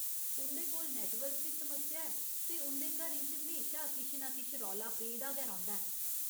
उं'दे कोल नैट्टवर्क दी समस्या ऐ, ते उं'दे घरें च म्हेशा किश नां किश रौला पेदा गै रौंह्दा ऐ।